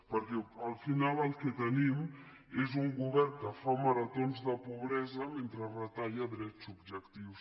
perquè al final el que tenim és un govern que fa maratons de pobresa mentre retalla drets subjectius